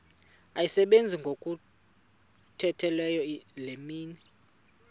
asebenza ngokokhutheleyo imini